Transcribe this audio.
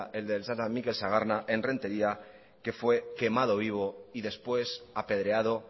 mikel sagarna en rentería que fue quemado vivo y después apedreado